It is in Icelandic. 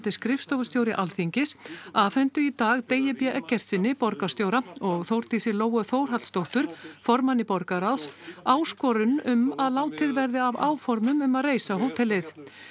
skrifstofustjóri Alþingis afhentu í dag Degi b Eggertssyni borgarstjóra og Þórdísi Lóu Þórhallsdóttur formanni borgarráðs áskorun um að látið verði af áformum um að reisa hótelið